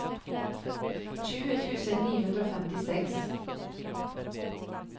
tjue tusen ni hundre og femtiseks